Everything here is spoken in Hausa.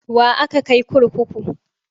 Wa aka kai kurkuku?